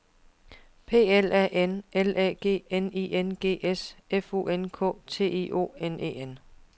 P L A N L Æ G N I N G S F U N K T I O N E N